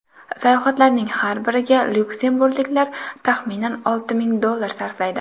Sayohatlarning har biriga lyuksemburgliklar taxminan olti ming dollar sarflaydi.